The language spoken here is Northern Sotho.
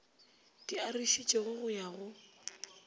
di arošitšwego go ya go